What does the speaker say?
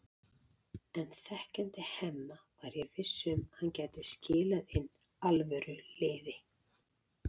En þekkjandi Hemma var ég viss um að hann gæti skilað inn alvöru liði.